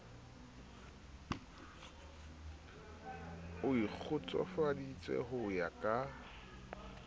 o ikgotsofaditse ho ya ka